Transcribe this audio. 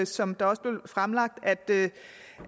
som der også blev fremlagt at